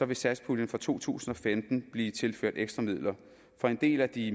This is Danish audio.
vil satspuljen for to tusind og femten blive tilført ekstra midler for en del af de